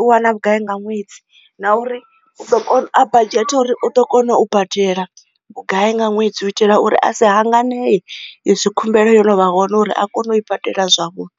u wana vhugai nga ṅwedzi na uri a badzhete uri u ḓo kona u badela vhugai nga ṅwedzi u itela uri a si hanga nee izwi khumbelo yo no vha hone uri a kone u i badela zwavhuḓi.